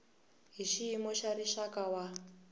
hi xiyimo xa rixaka wa